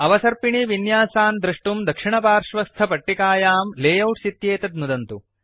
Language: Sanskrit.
अवसर्पिणीविन्यासान् द्रष्टुं दक्षिणपार्श्वस्थ पट्टिकायां लेआउट्स् इत्येतत् नुदन्तु